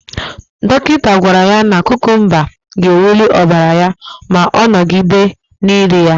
Dọkịta gwara ya na kukumba ga-ewuli ọbara ya ma ọ nọgide na-eri ya.